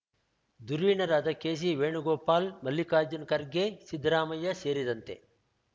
ಧುರೀಣರಾದ KC Venugopal Mallikarjun Kharge Siddaramaiah ಸೇರಿದಂತೆ